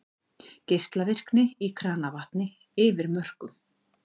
Geislavirkni í kranavatni yfir mörkum